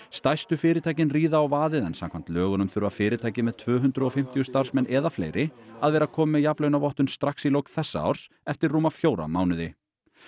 stærstu fyrirtækin ríða á vaðið en samkvæmt lögunum þurfa fyrirtæki með tvö hundruð og fimmtíu starfsmenn eða fleiri að vera komin með jafnlaunavottun strax í lok þessa árs eftir rúma fjóra mánuði